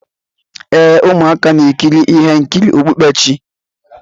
ee, ụmụaka na-ekiri ihe nkiri okpukperechi.